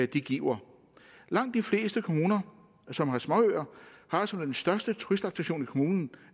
de giver langt de fleste kommuner som har småøer har altså den største turistattraktion i kommunen